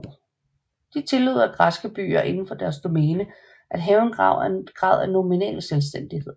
De tillod at græske byer inden for deres domæne af have en grad af nominal selvstændighed